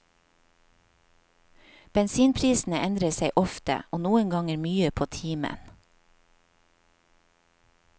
Bensinprisene endrer seg ofte, og noen ganger mye på timen.